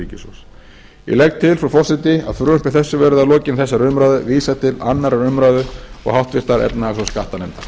ríkissjóðs ég legg til frú forseti að frumvarpi þessu verði að lokinni þessari umræðu vísað til annarrar umræðu og háttvirtrar efnahags og skattanefndar